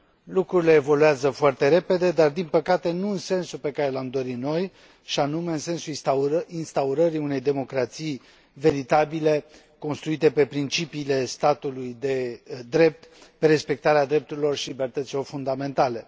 Lucrurile evoluează foarte repede, dar, din păcate, nu în sensul pe care l am dori noi, și anume în sensul instaurării unei democrații veritabile construite pe principiile statului de drept, pe respectarea drepturilor și libertăților fundamentale.